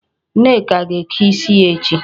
Nneka ga-eke isi ya echi.